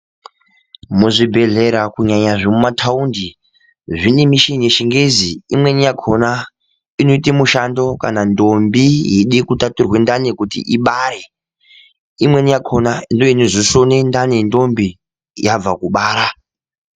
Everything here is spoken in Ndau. Muzvi bhedhlera kunyanya zvemuma taunti zvine mishini ye chingezi imweni yakona inoite mishando kana ndombi yeide ku tatura ndani kuti ibare imweni yakona ndiyo inozo sona ndani ye ndombi yabva kubara.